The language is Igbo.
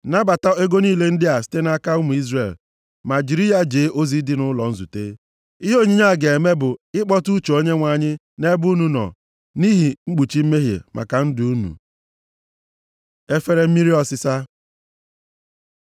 Nabata ego niile ndị a site nʼaka ụmụ Izrel, ma jiri ya jee ozi dị nʼụlọ nzute. Ihe onyinye a ga-eme bụ ịkpọtụ uche Onyenwe anyị nʼebe unu nọ nʼihi mkpuchi mmehie maka ndụ unu.” Efere mmiri ọsịsa